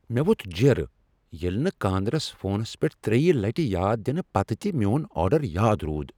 مےٚ ووٚتھ جیڑٕ ییٚلہ نہٕ کاندرِس فونس پیٹھ تریِہ لٹِہ یاد دِنہ پتہٕ تِہ میون آرڈر یاد رود۔